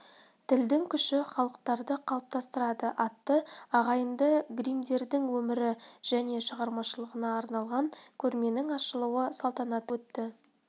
тілдің күші халықтарды қалыптастырады атты ағайынды гриммдердің өмірі және шығармашылығына арналған көрменің ашылу салтанаты өтті